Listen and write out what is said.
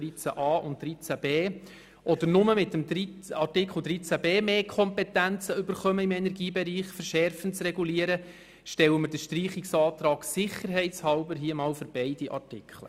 Denn es ist nicht ganz klar, ob die Gemeinden mit beiden Artikeln oder nur mit Artikel 13b im Energiebereich mehr Kompetenzen erhalten, um verschärfende Regulierungen vorzunehmen.